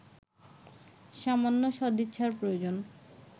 সামান্য সদিচ্ছার প্রয়োজন